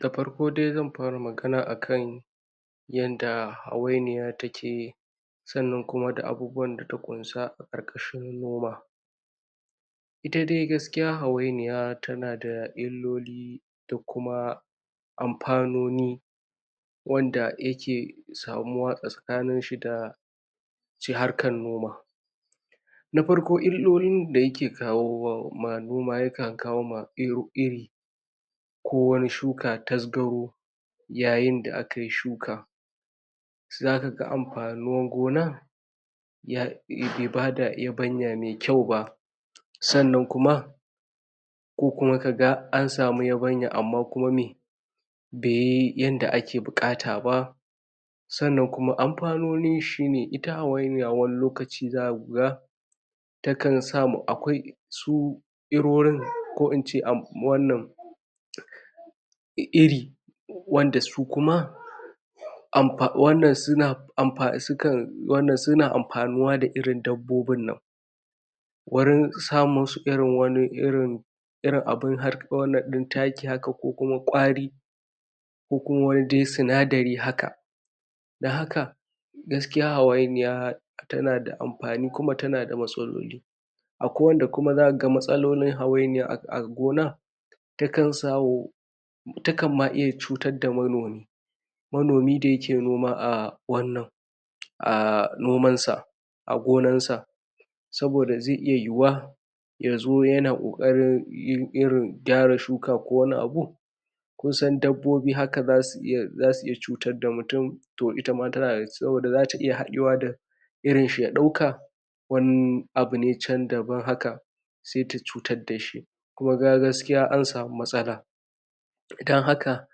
Da farko dai zan fara magana a kan yanda hawainiya take, sannan kuma da abubuwan da ta ƙunsa a ƙarƙashin noma. Ita dai gaskiya hawainiya tana da illoli, da kuma amfanoni, wanda yake samuwa tsakanin shi da harkan noma. Na farko illolin da yake kawo ma noma, ya kan kawo ma iri, ko wani shuka tasgaro, yayin da a kai shuka. Za kaga amfanin gona, bai bada yabanya mai kyau ba, sannan kuma ko kuma kaga an samu yabanya, amma kuma me beyi yanda ake buƙata ba. Sannan kuma amfanonin shine, ita hawainiya wani lokaci zaku ga ta kan sa ma, akwai su irorin, ko in ce iri wanda su kuma suna amfanuwa da irin dabbobin nan, wurin sa musu, irin wani irin irin abun wannan ɗin taki haka, ko kuma ƙwaːri, ko kuma wani dai sinadari haka. Dan haka, gaskiya hawainiya, tana da amfani, kuma tana da matsaloli. Akwai wanda kuma za kaga matsalolin hawainiya a gona, ta kan sawo, ta kan ma iya cutar da manomi, manomi da yake noma a wannan, a noman sa, a gonan sa. Saboda zai iya yuyuwa, ya zo yana ƙoƙarin irin gyara shuka ko wani abu, kun san adabbobi haka, zasu iya zasu iya cutad da mutu, to ita ma tana da, saboda zata iya haɗewa da irin shi, ya ɗauka wani abu ne chan daban haka, sai ta cutad dashi, kuma kaga gaskiya an samu matsala. Dan haka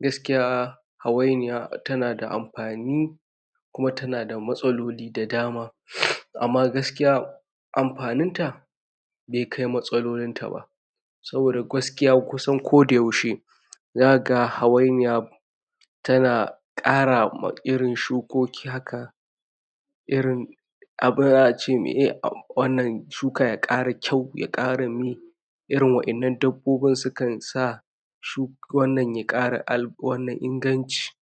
gaskiya hawainiya tana da amfani, kuma tana da matsaloli da dama. Amma gaskiya, amfanin ta be kai matsalolin ta ba. Saboda gwaskiya kusan ko da yaushe, za kaga hawainiya, tana ƙara ma irin shukoki haka, irin abun za a meye wannan shuka ya ƙara kyau, ya ƙara me, irin wa'innan dabbobin su kan sa shukon nan ya ƙara inganci.